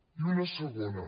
i una segona